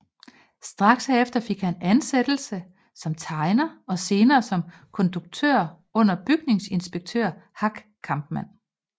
Straks herefter fik han ansættelse som tegner og senere som konduktør under bygningsinspektør Hack Kampmann